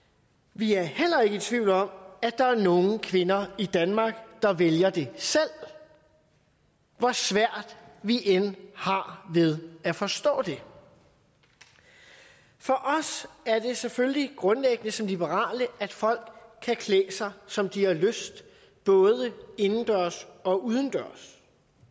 vi er heller ikke i tvivl om at der er nogle kvinder i danmark der vælger det selv hvor svært vi end har ved at forstå det for os er det selvfølgelig grundlæggende som liberale at folk kan klæde sig som de har lyst både indendørs og udendørs